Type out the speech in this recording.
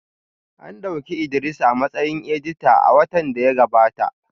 An dauki Idris a matsayin edita a watan da ya gabata